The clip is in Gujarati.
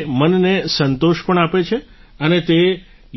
તે મનને સંતોષ પણ આપે છે અને તે